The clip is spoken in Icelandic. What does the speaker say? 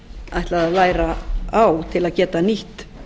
ætlaði að læra á til að geta nýtt